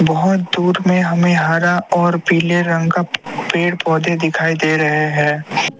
बहुत दूर मे हमें हरा और पीले रंग का पेड़ पौधे दिखाई दे रहे है।